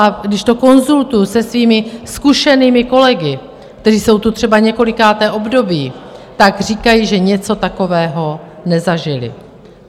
A když to konzultuji se svými zkušenými kolegy, kteří jsou tu třeba několikáté období, tak říkají, že něco takového nezažili.